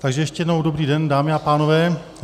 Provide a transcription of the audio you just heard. Takže ještě jednou dobrý den, dámy a pánové.